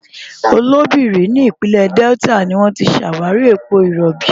Oloibiri ní ìpínlẹ̀ Delta ni wọ́n ti ṣàwárí epo rọ̀bì.